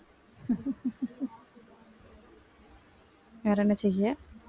வேற என்ன செய்ய